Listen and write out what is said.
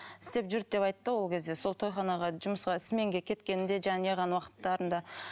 істеп жүрді деп айтты ол кезде сол тойханаға жұмысқа сменге кеткенде жаңа не қылған уақыттарында